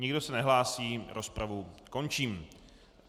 Nikdo se nehlásí, rozpravu končím.